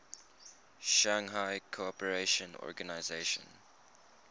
shanghai cooperation organization